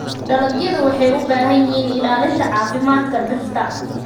Dalagyadu waxay u baahan yihiin ilaalinta caafimaadka dhirta.